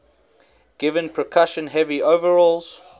given percussion heavy overhauls